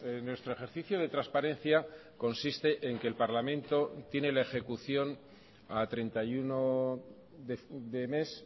en nuestro ejercicio de transparencia consiste en que el parlamento tiene la ejecución a treinta y uno de mes